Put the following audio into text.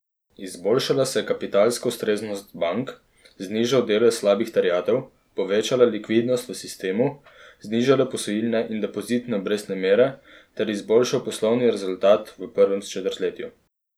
Izboljšala se je kapitalska ustreznost bank, znižal delež slabih terjatev, povečala likvidnost v sistemu, znižale posojilne in depozitne obrestne mere ter izboljšal poslovni rezultat v prvem četrtletju.